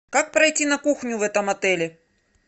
как пройти на кухню в этом отеле